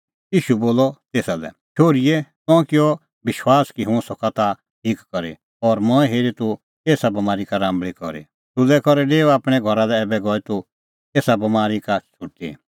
ईशू बोलअ तेसा लै शोहरी तंऐं किअ विश्वास कि हुंह सका ताह ठीक करी और मंऐं हेरी तूह एसा बमारी का राम्बल़ी करी सुलै करै डेऊ आपणैं घरा लै ऐबै गई तूह एसा बमारी का छ़ुटी